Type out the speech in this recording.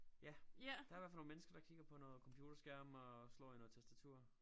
Ja der i hvert fald nogle mennesker der kigger på noget computerskærm og slår i noget tastatur